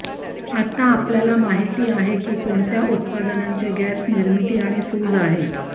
आता आपल्याला माहित आहे की कोणत्या उत्पादनांचे गॅस निर्मिती आणि सूज आहे